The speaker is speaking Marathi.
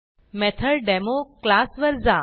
मेथोडेमो क्लास वर जा